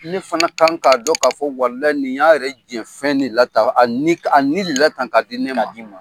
Ne fana kan k'a dɔn k'a fɔ walayi ni y'a yɛrɛ jɛn fɛn ne la tan a ni, a ni ne la tan ka di ne ma.